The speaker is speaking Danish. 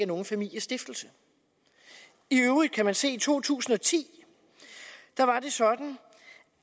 nogen familiestiftelse i øvrigt kan man se to tusind og ti var sådan